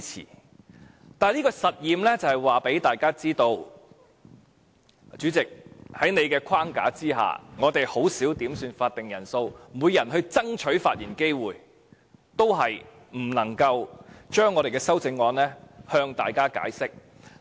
但是，我這個實驗是想告訴大家，主席，在你的框架下，我們已甚少要求點算法定人數，即使每人爭取發言機會，也不能夠向大家解釋我們的修正案。